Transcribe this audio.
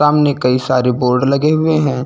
सामने कई सारे बोर्ड लगे हुए हैं।